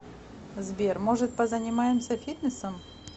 сбер может позанимаемся фитнесом